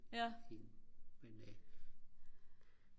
men øh